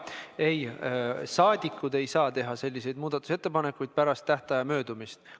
Ei, rahvasaadikud ei saa teha muudatusettepanekuid pärast tähtaja möödumist.